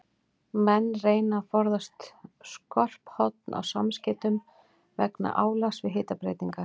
Menn reyna að forðast skörp horn á samskeytum vegna álags við hitabreytingar.